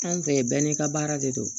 Anw fɛ yen bɛɛ n'i ka baara de don